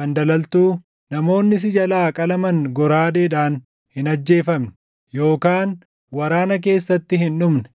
fandalaltuu, namoonni si jalaa qalaman goraadeedhaan hin ajjeefamne yookaan waraana keessatti hin dhumne.